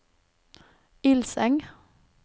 Ilseng